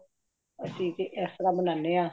ਅਸੀ ਤੇ ਇਸਤਰਾਂ ਬਨਾਂਦੇ ਹ